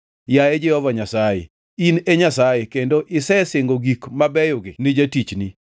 Yaye Jehova Nyasaye, in e Nyasaye! Kendo isesingo gik mabeyogi ni jatichni.